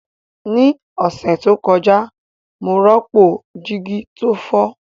Ní ọ̀sẹ̀ tó kọjá, mo rọ́pò jígí tó fọ́